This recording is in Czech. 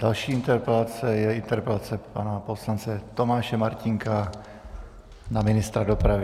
Další interpelace je interpelace pana poslance Tomáše Martínka na ministra dopravy.